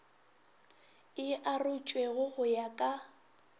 e arotšwego go ya ka